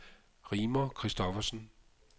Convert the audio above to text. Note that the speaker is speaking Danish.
Rigmor Kristoffersen